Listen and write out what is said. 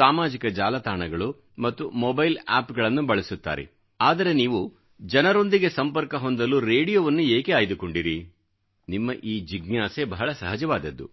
ಸಾಮಾಜಿಕ ಜಾಲತಾಣಗಳು ಮತ್ತು ಮೋಬೈಲ್ ಆಪ್ಗಳನ್ನು ಬಳಸುತ್ತಾರೆ ಆದರೆ ನೀವು ಜನರೊಂದಿಗೆ ಸಂಪರ್ಕ ಹೊಂದಲು ರೇಡಿಯೋವನ್ನು ಏಕೆ ಆಯ್ದುಕೊಂಡಿರಿ ನಿಮ್ಮ ಈ ಜಿಜ್ಞಾಸೆ ಬಹಳ ಸಹಜವಾದದ್ದು